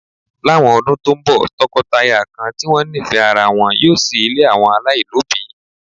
Láwọn ọdún tó ń bọ̀, tọkọtaya kan tí wọ́n nífẹ̀ẹ́ ara wọn yóò ṣí ilé àwọn ọmọ aláìlóbìí